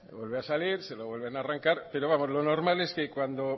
vuelve a salir se lo vuelven arrancar pero vamos lo normal es cuando